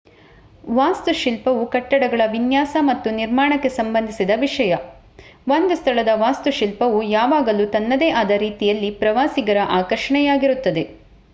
ವಾಸ್ತುಶಿಲ್ಪವು ಕಟ್ಟಡಗಳ ವಿನ್ಯಾಸ ಮತ್ತು ನಿರ್ಮಾಣಕ್ಕೆ ಸಂಬಂಧಿಸಿದ ವಿಷಯ ಒಂದು ಸ್ಥಳದ ವಾಸ್ತುಶಿಲ್ಪವು ಯಾವಾಗಲೂ ತನ್ನದೇ ಆದ ರೀತಿಯಲ್ಲಿ ಪ್ರವಾಸಿಗರ ಆಕರ್ಷಣೆಯಾಗಿರುತ್ತದೆ